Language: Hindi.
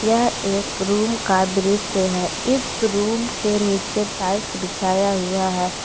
यह एक रूम का दृश्य है इस रूम के नीचे टाइल्स बिछाया हुआ है।